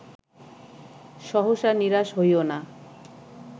সহসা নিরাশ হইও না